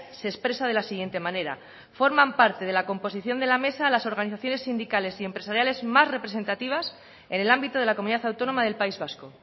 se expresa de la siguiente manera forman parte de la composición de la mesa las organizaciones sindicales y empresariales más representativas en el ámbito de la comunidad autónoma del país vasco